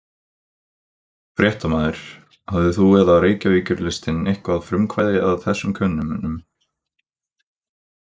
Fréttamaður: Hafðir þú eða Reykjavíkurlistinn eitthvað frumkvæði að þessum könnunum?